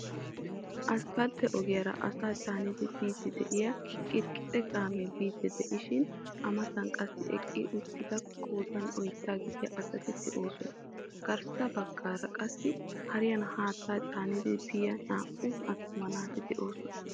Aspaltte ogiyaara asaa caanidi biidi de'iya qixi qixe kaamee biidi diishiin A mattan qassi eqqi uttida qoodan oydda gidya asati de'oosona. Garssa baggaara qassi hariyan haattaa caanidi biya naa'u attuma naati de'oosona.